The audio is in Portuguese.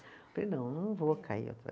Eu falei, não, não vou cair outra